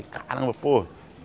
Caramba, pô!